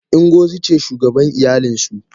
Ingozi ce shugaban iyalinsu.